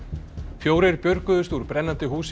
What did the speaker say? fjórir björguðust úr brennandi húsi